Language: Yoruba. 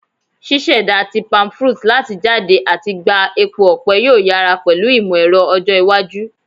Ṣiṣẹda ti palmfruit lati jade ati gba epo ọpẹ yoo yara pẹlu imọ-ẹrọ ọjọ iwaju